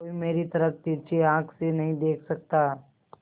कोई मेरी तरफ तिरछी आँख से नहीं देख सकता